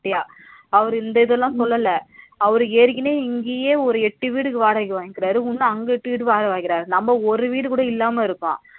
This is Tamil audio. அவரு இந்த இதல சொல்லல அவரு ஏற்கனவே இங்கயே ஒரு எட்டு வீடுக்கு வாடக வாங்கிக்கிறாரு இன்னும் அங்கிட்டு வாடக வாங்கிக்கிறாரு நம்ம ஒரு வீடு கூட இல்லாம இருக்கோம்